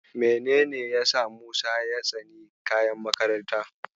Menene yasa Musa ya tsani kayan makarantarsa?